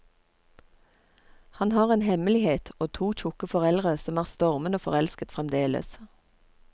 Han har en hemmelighet og to tjukke foreldre som er stormende forelsket fremdeles.